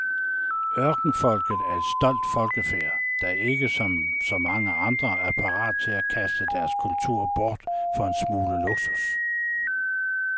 Ørkenfolket er et stolt folkefærd, der ikke som så mange andre er parate til at kaste deres kultur bort for en smule luksus.